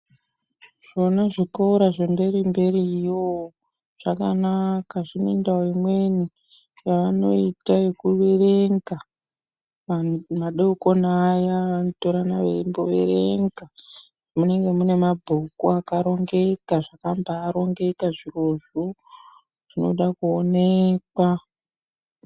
Mune zvikora zvemberi mberiyo zvakanaka zvinendau imweni yavanoita yekuverenga vantu madekoni aya vanotorana veimboverenga munenge mune mabhuku akaringeka zvakambarongeka zvirozvo zvinoda kuonekwa.